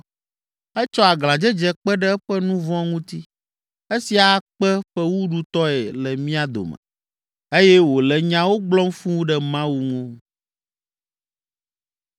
Etsɔ aglãdzedze kpe ɖe eƒe nu vɔ̃ ŋuti, esia akpe fewuɖutɔe le mía dome eye wòle nyawo gblɔm fũu ɖe Mawu ŋu.”